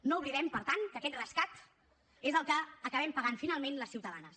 no oblidem per tant que aquest rescat és el que acabem pagant finalment les ciutadanes